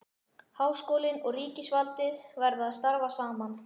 Háskólinn og ríkisvaldið verða að starfa saman.